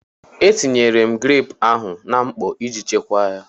E tinyela m greepụ ahụ na mkpọ iji chekwaa ya.